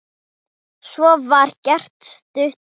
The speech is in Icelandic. Svo var gert stutt hlé.